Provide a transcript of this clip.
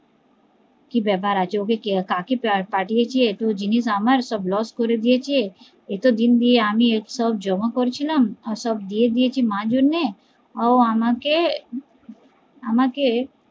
কি ব্যাপার আছে ওকে কাকে পাঠিয়েছে এত জিনিস আমার সব লস করে দিয়েছে এত দিন ধরে আমি সব জমা করছিলাম সব দিয়ে দিয়েছি মার জন্যে ও আমাকে আমাকে